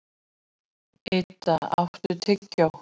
Idda, áttu tyggjó?